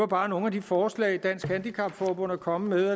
bare nogle af de forslag dansk handicap forbund er kommet